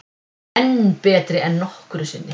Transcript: Enn betri en nokkru sinni